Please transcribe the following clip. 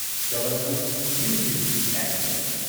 Jabalpur New Delhi express